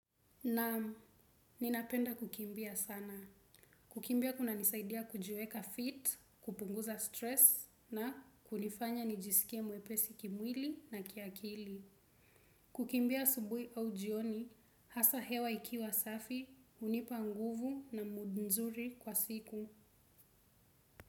Naam, ninapenda kukimbia sana. Kukimbia kuna nisaidia kujiweka fit, kupunguza stress na kunifanya nijisikie mwepesi kimwili na kiakili. Kukimbia asubuhi au jioni, hasa hewa ikiwa safi, hunipa nguvu na mudu nzuri kwa siku.